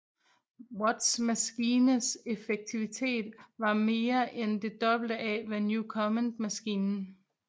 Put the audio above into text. Watts maskines effektivitet var mere end det dobbelt af Newcomen maskinen